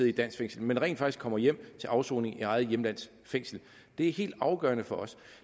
i et dansk fængsel men rent faktisk kommer hjem til afsoning i eget hjemlands fængsler det er helt afgørende for os